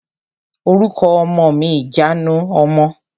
Orúkọ ọmọ ni ìjanu ọmọ.